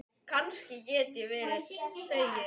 Finnst þér það nægur tími?